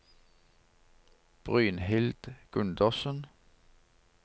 Brynhild Gundersen